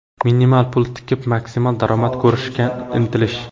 minimal pul tikib, maksimal daromad ko‘rishga intilish.